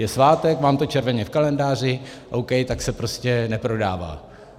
Je svátek, mám to červeně v kalendáři, OK, tak se prostě neprodává.